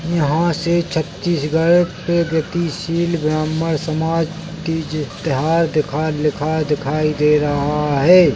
यहाँ से छतीसगढ़ गतिशील ब्राह्मण समाज तीजा तिहार दिखा लिखा दिखाई दे रहा है।